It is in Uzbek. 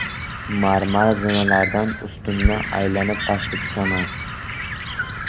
Marmar zinalardan ustunni aylanib pastga tushaman.